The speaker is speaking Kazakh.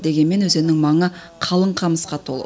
дегенмен өзеннің маңы қалың қамысқа толы